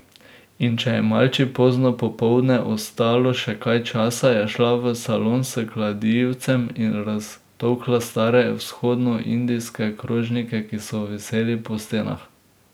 In če je Malči pozno popoldne ostalo še kaj časa, je šla v salon s kladivcem in raztolkla stare vzhodnoindijske krožnike, ki so viseli po stenah.